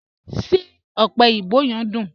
Ṣé ọ̀pẹ̀ oyinbò yẹ̀m duń?